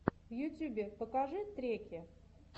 в ютюбе покажи треки